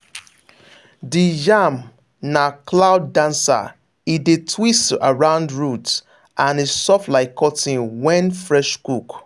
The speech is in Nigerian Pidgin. the yam na cloud dancer e dey twist around root and e soft like cotton when fresh cook.